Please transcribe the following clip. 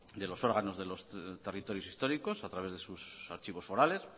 de los órganos de los territorios históricos a través de sus archivos forales